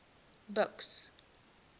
buks